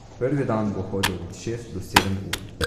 Prvi dan bo hodil od šest do sedem ur.